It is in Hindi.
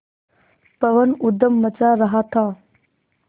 पवन ऊधम मचा रहा था